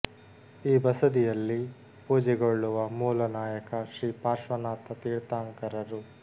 ಈ ಬಸದಿಯಲ್ಲಿ ಪೋಜೆಗೊಳ್ಳುವ ಮೂಲ ನಾಯಕ ಶ್ರೀ ಪಾರ್ಶ್ವನಾಥ ತೀರ್ಥಾಂಕರರು